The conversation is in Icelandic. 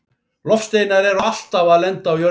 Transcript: Loftsteinar eru alltaf að lenda á jörðinni.